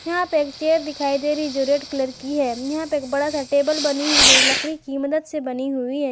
यहां पे एक चेयर दिखाई दे रही जो रेड कलर की है यहां पर एक बड़ा सा टेबल बनी हुई लकड़ी की मदद से बनी हुई है।